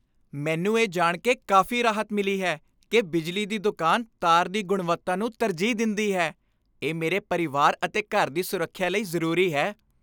ਮੈਨੂੰ ਇਹ ਜਾਣ ਕੇ ਕਾਫ਼ੀ ਰਾਹਤ ਮਿਲੀ ਹੈ ਕਿ ਬਿਜਲੀ ਦੀ ਦੁਕਾਨ ਤਾਰ ਦੀ ਗੁਣਵੱਤਾ ਨੂੰ ਤਰਜੀਹ ਦਿੰਦੀ ਹੈ। ਇਹ ਮੇਰੇ ਪਰਿਵਾਰ ਅਤੇ ਘਰ ਦੀ ਸੁਰੱਖਿਆ ਲਈ ਜ਼ਰੂਰੀ ਹੈ।